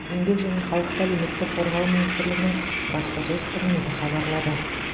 еңбек және халықты әлеуметтік қорғау министрлігінің баспасөз қызметі хабарлады